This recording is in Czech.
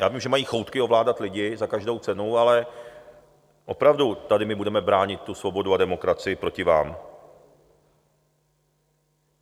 Já vím, že mají choutky ovládat lidi za každou cenu, ale opravdu my tady budeme bránit tu svobodu a demokracii proti vám.